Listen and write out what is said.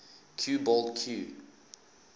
cue ball cue